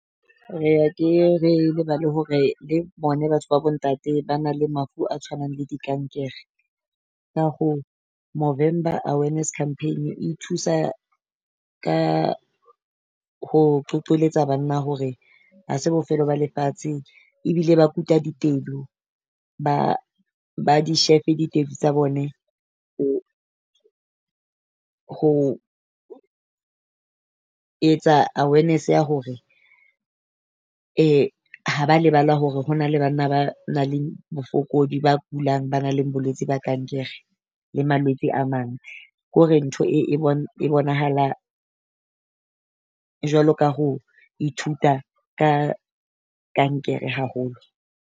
Re ke re lebale hore le bone batho ba bo ntate ba na le mafu a tshwanang le dikankere. Ka hoo Movember awareness campaign e thusa ka ho qoqokoletsa banna hore ha se bofelo ba lefatshe, ebile ba kuta ditedu ba ba di ditedu tsa bone. Ho etsa awareness ya hore ha ba lebala hore ho na le banna ba nang le bofokodi, ba kulang ba nang le bolwetse ba kankere le malwetse a mang. Ke hore ntho e e e bonahala jwalo ka ho ithuta ka kankere haholo.